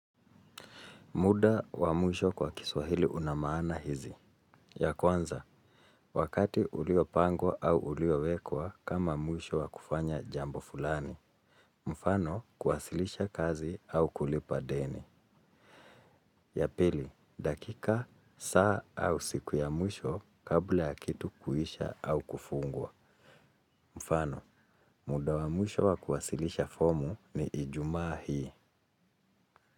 Muda wa mwisho kwa kiswahili una maana hizi. Ya kwanza, wakati uliopangwa au uliowekwa kama mwisho wa kufanya jambo fulani. Mfano, kuwasilisha kazi au kulipa deni. Ya pili, dakika, saa au siku ya mwisho kabla ya kitu kuisha au kufungwa. Mfano, muda wa mwisho wa kuwasilisha fomu ni ijumaa hii.